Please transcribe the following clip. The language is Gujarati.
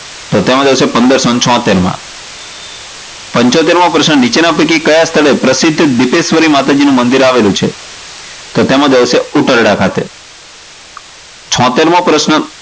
તો તેમાં જવાબ આવશે પંદરસો છોટ્ટેર માં પંચોતેર મો પ્રશ્ન નીચેના પૈકી કયા સ્થળે પ્રસિધ્ધ સિધ્ધેશ્વરી માતાજીનું મંદિર આવેલું છે? તો તેમાં જવાબ આવશે ઉકરડા ખાતે. છોટેર મો પ્રશ્ન.